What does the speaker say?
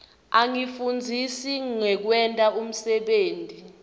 asifundzisa ngekwenta umsebenti